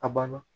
A banna